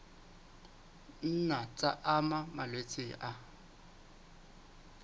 nna tsa ama malwetse a